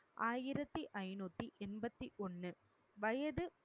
ஆயிரத்து ஐநூத்தி எண்பத்தி ஒண்ணு வயது